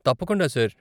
తప్పకుండా, సార్.